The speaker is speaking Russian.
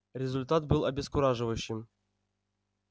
результат был обескураживающим